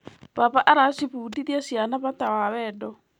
Baba aracibundithia ciana bata wa wendo.